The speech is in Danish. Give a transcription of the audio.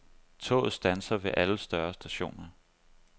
Toget standser ved alle større stationer.